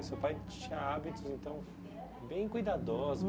O seu pai tinha hábitos, então, bem cuidadosos.